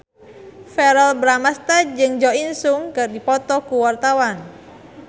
Verrell Bramastra jeung Jo In Sung keur dipoto ku wartawan